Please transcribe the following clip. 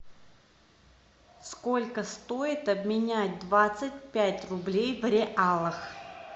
сколько стоит обменять двадцать пять рублей в реалах